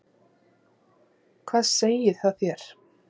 Hvað segir það þér?